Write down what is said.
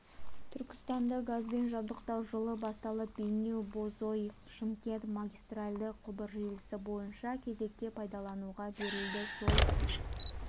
түркістанды газбен жабдықтау жылы басталып бейнеу бозой шымкент магистральді құбыр желісі бірінші кезекте пайдалануға берілді сол